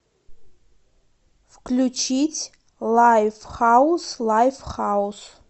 включить лайфхаус лайфхаус